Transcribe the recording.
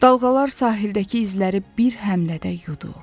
Dalğalar sahildəki izləri bir həmlədə yudu.